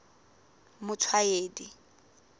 motshwaedi